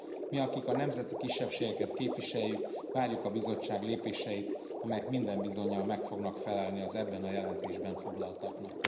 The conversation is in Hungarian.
Mi, akik a nemzeti kisebbségeket képviseljük, várjuk a Bizottság lépéseit, amelyek minden bizonnyal meg fognak felelni az ebben a jelentésben foglaltaknak.